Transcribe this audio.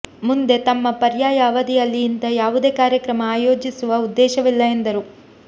ಮುಂದೆ ತಮ್ಮ ಪರ್ಯಾಯ ಅವಧಿಯಲ್ಲಿ ಇಂಥ ಯಾವುದೇ ಕಾರ್ಯಕ್ರಮ ಆಯೋಜಿಸುವ ಉದ್ದೇಶವಿಲ್ಲ ಎಂದರು